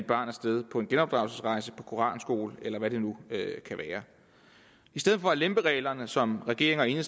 barn af sted på en genopdragelsesrejse på koranskole eller hvad det nu kan være i stedet for at lempe reglerne sådan som regeringen